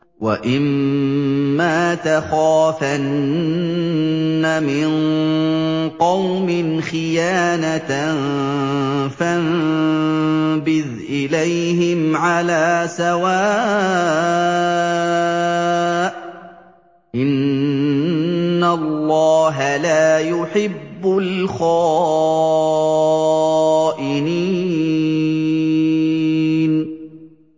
وَإِمَّا تَخَافَنَّ مِن قَوْمٍ خِيَانَةً فَانبِذْ إِلَيْهِمْ عَلَىٰ سَوَاءٍ ۚ إِنَّ اللَّهَ لَا يُحِبُّ الْخَائِنِينَ